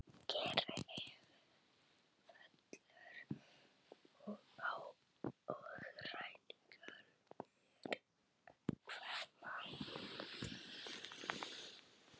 Kyrrð fellur á og ræningjarnir hverfa.